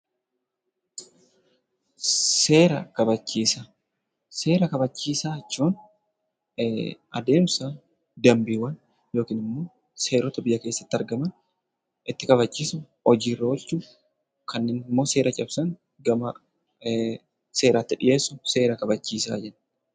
Seera kabachiisaa. Seera kabachiisaa jechuun adeemsa danbiiwwan seerota biyya keessatti argaman itti kabachiifnu, hojii irra oolchuuf kanneen immoo seera cabsan seeratti dhiyeessuun seera kabachiisaa jechuu dha.